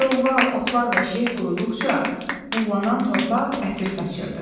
Kollar, otlar və şeh qoruduqca buğlanan torpaq ətir saçırdı.